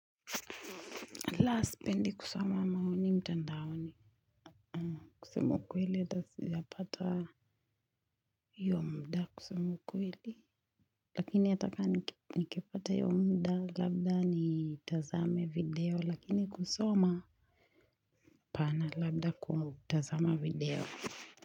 La sipendi kusoma maoni mtandao ni kusema kweli hata sijapata hiyo muda kusema ukweli. Lakini hataka nikipata hiyo muda labda ni tazame video lakini kusoma hapana labda kutazama video.